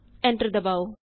enter ਦਬਾਉ